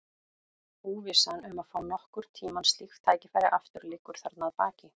Óvissan um að fá nokkurn tíma slíkt tækifæri aftur liggur þarna að baki.